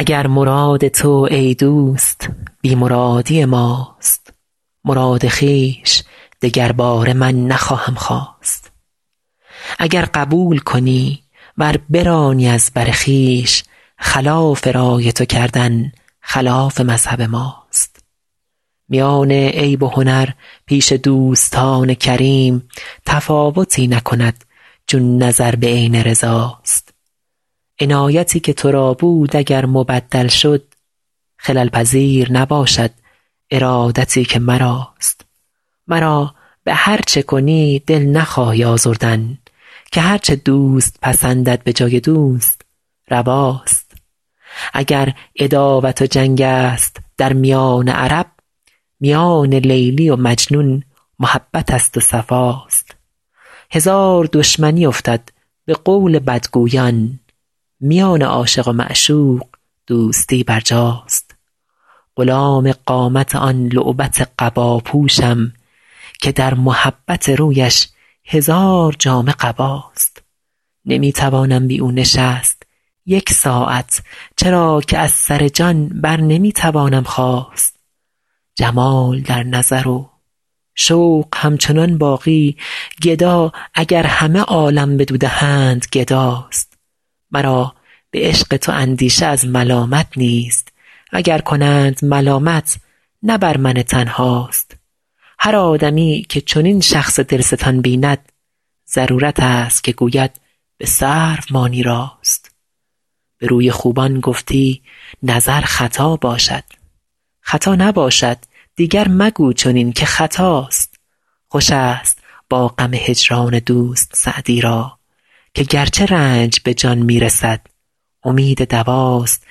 اگر مراد تو ای دوست بی مرادی ماست مراد خویش دگرباره من نخواهم خواست اگر قبول کنی ور برانی از بر خویش خلاف رای تو کردن خلاف مذهب ماست میان عیب و هنر پیش دوستان کریم تفاوتی نکند چون نظر به عین رضا ست عنایتی که تو را بود اگر مبدل شد خلل پذیر نباشد ارادتی که مراست مرا به هر چه کنی دل نخواهی آزردن که هر چه دوست پسندد به جای دوست روا ست اگر عداوت و جنگ است در میان عرب میان لیلی و مجنون محبت است و صفا ست هزار دشمنی افتد به قول بدگویان میان عاشق و معشوق دوستی برجاست غلام قامت آن لعبت قبا پوشم که در محبت رویش هزار جامه قباست نمی توانم بی او نشست یک ساعت چرا که از سر جان بر نمی توانم خاست جمال در نظر و شوق همچنان باقی گدا اگر همه عالم بدو دهند گدا ست مرا به عشق تو اندیشه از ملامت نیست و گر کنند ملامت نه بر من تنها ست هر آدمی که چنین شخص دل ستان بیند ضرورت است که گوید به سرو ماند راست به روی خوبان گفتی نظر خطا باشد خطا نباشد دیگر مگو چنین که خطاست خوش است با غم هجران دوست سعدی را که گرچه رنج به جان می رسد امید دوا ست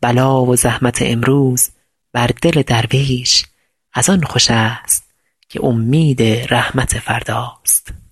بلا و زحمت امروز بر دل درویش از آن خوش است که امید رحمت فردا ست